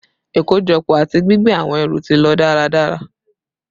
Ikojọpọ ati gbigbe awọn ẹru ti lo daradara